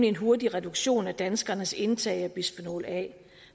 en hurtig reduktion af danskernes indtag af bisfenol a